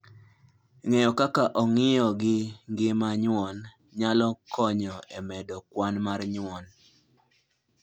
Ng'eyo kaka ong'iyo gi ngima nyuon, nyalo konyo e medo kwan mar nyuon.